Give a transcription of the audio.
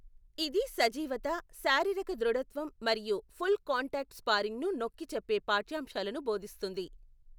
ఇది సజీవత, శారీరక దృఢత్వం మరియు ఫుల్ కాంటాక్ట్ స్పారింగ్ను నొక్కి చెప్పే పాఠ్యాంశాలను బోధిస్తుంది.